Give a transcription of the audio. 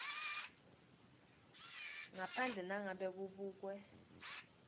ngaphandle nangabe kubekwe